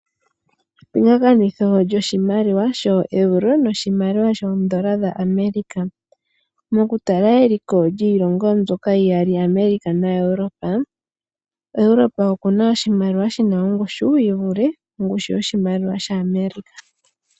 Epingakanitho lyoshimaliwa shoEuro noshimaliwa shoondola dhaAmerica. Mokutala eliko lyiilongo mbyoka iyali America na Europe, Europe oku na oshimaliwa shi na ongushu yi vule ongushu yoshimaliwa shaAmerica.